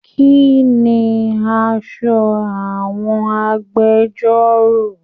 Kínní aṣọ àwọn agbẹ̀jọ́ro?